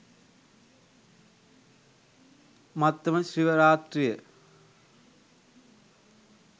මත්තම ශිව රාත්‍රිය